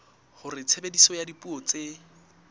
hore tshebediso ya dipuo tse